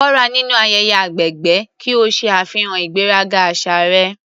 Kópa nínú ayẹyẹ agbègbè ki o ṣe àfihàn ìgbéraga àṣà rẹ.